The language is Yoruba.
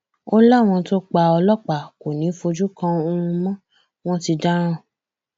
ó láwọn tó pa ọlọpàá kò ní í fojú kan oòrùn mọ wọn ti dáràn